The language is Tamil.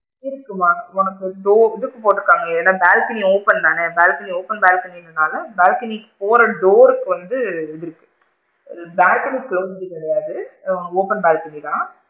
இருக்கு மா உனக்கு இது டோ இதுக்கு போட்டு இருக்காங்க, ஏன்னா? balcony open தான balcony open balcony னால balcony போற door கு வந்து இது balcony குள்ள வந்துக்க முடியாது ஆ open balcony தான்.